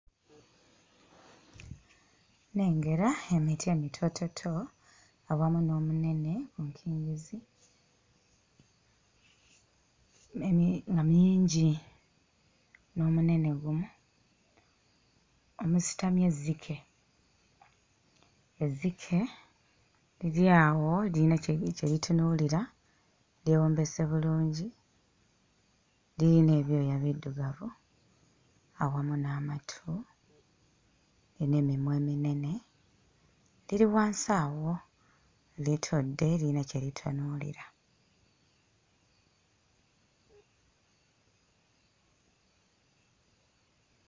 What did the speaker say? Nnengera emiti emitoototo awamu n'omunene mu nkingizi nene nga mingi n'omunene gumu omusitamye ezzike; ezzike liri awo liyina kye li kye litunuuira lyewombeese bulungi, liyina ebyooya biddugavu awamu n'amatu n'emimwa eminene, liri wansi awo litudde liyina kye litunuulira.